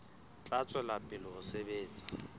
tla tswela pele ho sebetsa